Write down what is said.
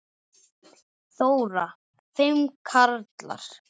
Þóra: Fimm karlar?